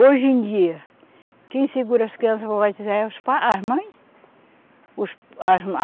Hoje em dia, quem segura as crianças para batizar é os pa, as mães. Os, as, as